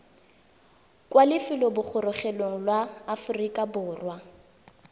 kwa lefelobogorogelong la aforika borwa